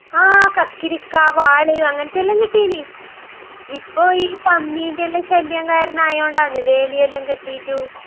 ങാ...കക്കിരിക്കാ, വാള്...അങ്ങനത്തെയെല്ലാം കിട്ടീയ്ന്..ഇപ്പൊ ഈ പന്നീന്റെയെല്ലാം ശല്യം കാരണം ആയോണ്ടാന്ന്..വേലിയെല്ലാം കെട്ടീട്ടും..